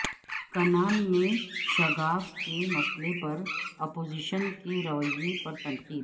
کنال میں شگاف کے مسئلہ پر اپوزیشن کے رویہ پر تنقید